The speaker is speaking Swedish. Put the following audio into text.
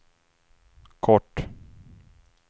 kort